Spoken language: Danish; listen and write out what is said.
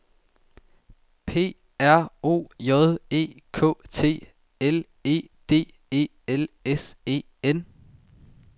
P R O J E K T L E D E L S E N